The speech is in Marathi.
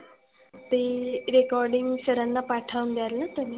ती recording sir ना पाठवून द्यालना तुम्ही?